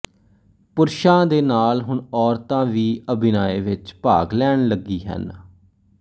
ਪੁਰਸ਼ਾਂ ਦੇ ਨਾਲ ਹੁਣ ਔਰਤਾਂ ਵੀ ਅਭਿਨਏ ਵਿੱਚ ਭਾਗ ਲੈਣ ਲੱਗੀ ਹਨ